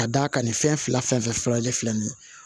Ka d'a ka nin fɛn fila fɛn fɛn filanan ye fila nin ye